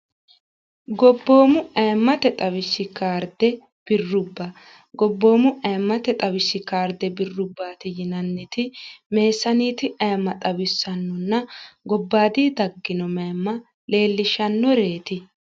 gobboomu ayimmate xawishshi kaarde birrubba gobboomu aimmate xawishshi kaarde birrubbaati yinanniti meessaaniiti aemma xawissannonna gobbaati taggino maemma leellishshannoreeti